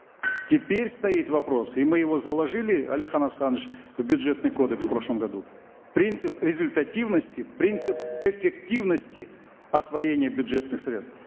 теперь стоит вопрос и мы его заложили алихан асханович в бюджетный кодекс в прошлом году принцип результативности принцип эффективности освоения бюджетных средств